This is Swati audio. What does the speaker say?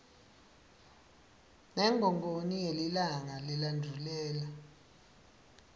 ngengongoni ngelilanga lelendvulela